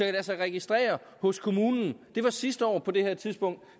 lade sig registrere hos kommunen det var sidste år på det her tidspunkt